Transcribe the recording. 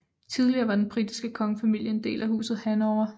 Tidligere var den britiske kongefamilie en del af Huset Hannover